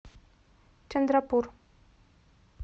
чандрапур